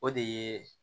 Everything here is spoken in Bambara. O de ye